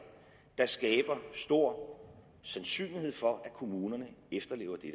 der skaber stor sandsynlighed for at kommunerne efterlever det